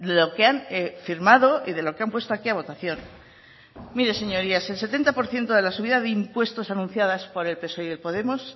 lo que han firmado y de lo que han puesto aquí a votación mire señorías el setenta por ciento de la subida de impuestos anunciada por el psoe y podemos